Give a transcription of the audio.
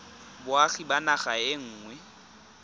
boagi ba naga e nngwe